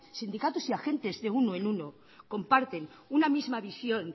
sindicatos y agentes de uno en uno comparten una misma visión